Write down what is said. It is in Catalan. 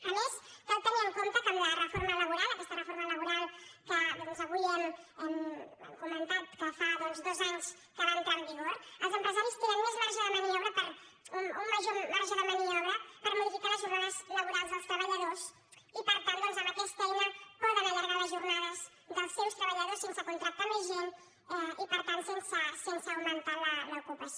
a més cal tenir en compte que amb la reforma laboral aquesta reforma laboral que avui hem comentat que fa dos anys que va entrar en vigor els empresaris tenen més marge de maniobra un major marge de maniobra per modificar les jornades laborals dels treballadors i per tant doncs amb aquesta eina poden allargar les jornades dels seus treballadors sense contractar més gent i per tant sense augmentar l’ocupació